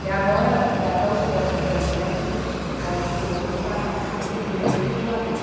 Que agora já estão os postos ali na frente, postos de cimento para substituir esses de madeira.